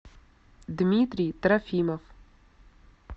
дмитрий трофимов